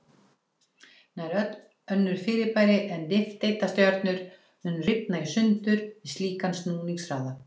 Nær öll önnur fyrirbæri en nifteindastjörnur mundu rifna í sundur við slíkan snúningshraða.